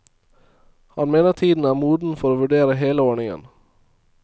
Han mener tiden er moden for å vurdere hele ordningen.